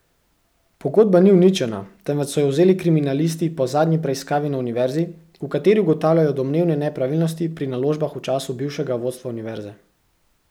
Pogodba ni uničena, temveč so jo vzeli kriminalisti po zadnji preiskavi na univerzi, v kateri ugotavljajo domnevne nepravilnosti pri naložbah v času bivšega vodstva univerze.